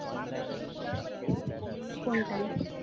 কোনটায়